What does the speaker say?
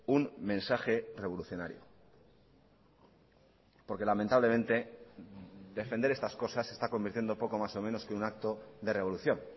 un mensaje revolucionario porque lamentablemente defender estas cosas se está convirtiendo poco más o menos que un acto de revolución